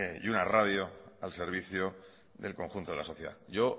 y una radio al servicio del conjunto de la sociedad yo